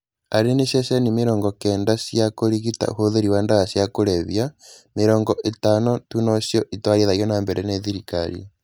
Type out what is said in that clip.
Arĩ nĩ cecheni mĩrongo kenda cia kũrigita ũhũthĩri wa ndawa cia kũrebia, mĩrongo ĩtano tu nocio iratwarithio nambere nĩ thirikari